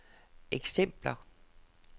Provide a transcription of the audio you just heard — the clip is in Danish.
eksempler